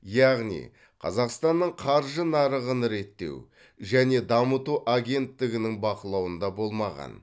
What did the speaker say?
яғни қазақстанның қаржы нарығын реттеу және дамыту агенттігінің бақылауында болмаған